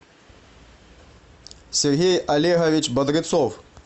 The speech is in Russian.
сергей олегович бодрецов